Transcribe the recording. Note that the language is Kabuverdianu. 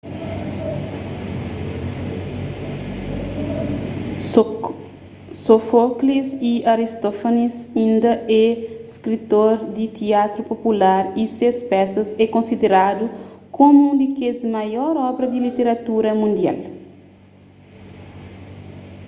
sófoklis y aristófanis inda é skritor di tiatru popular y ses pesas é konsideradu komu un di kes maior obra di literatura mundial